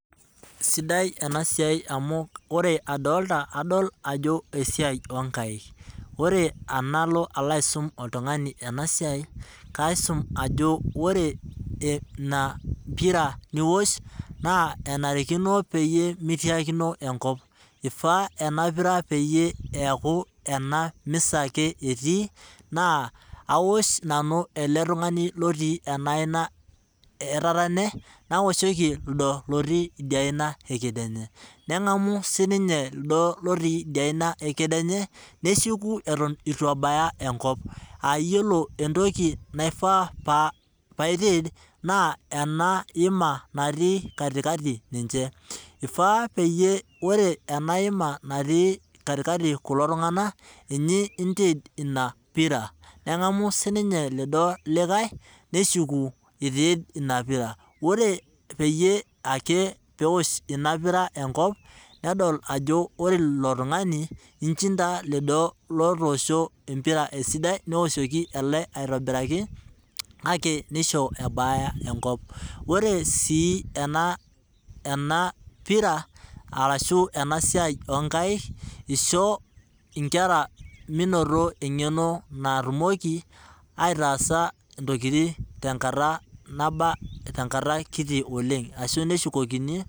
Sidai ena siai amu ore adolita adol ajo esiai oonkaek ,ore tenalo aisum oltungani enasiai ,kaisum ajo ore ina pira niwosh naa enarikino peyie meitiakino enkop. eifaa ena pira peyie eku ena misa ake etii naa awosh nanu ele tungani oti ena aina etatene nawoshoki lido otii idia aina ekedienye. nengamu siininye lido otii idia aina ekedienye neshuku eeton eitu ebaya enkop aa yiolo entoki naifaa pee aitid naa ena hima natii katikati ninche, eifaa naa ore ena hima natii katikati ninche, eifaa naa ore ena hima natii katikati ninche kulo tunganak ninye intid ina pira nengamu siininye lido likae neshuku aitid ina pira .ore eke peyie eosh ina pira enkop ,nedol ajo ore ilo tungani ,inchinda lido otoosho empira esidai neoshoki ele aitobiraki kake neisho ebaya enkop .ore sii ena siai ena pira orashu ena siai onkaek ,oshoo inkera menoto engeno natumoki aitaasa ntokiting tenkata kiti oleng.